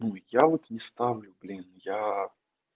ну я вот не ставлю блин я